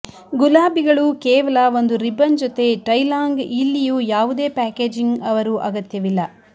ಗುಲಾಬಿಗಳು ಕೇವಲ ಒಂದು ರಿಬನ್ ಜೊತೆ ಟೈ ಲಾಂಗ್ ಇಲ್ಲಿಯೂ ಯಾವುದೇ ಪ್ಯಾಕೇಜಿಂಗ್ ಅವರು ಅಗತ್ಯವಿಲ್ಲ